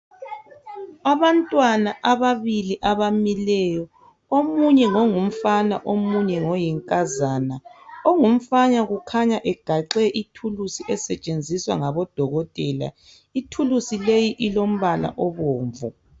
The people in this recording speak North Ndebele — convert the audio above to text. Abantwana ababili abamileyo omunye ngongumfana omunye ngoyinkazana ongumfana kukhanya egaxe ithulusi esetshenziswa ngabodokotela. Ithulusi leyi ilompala obomvu.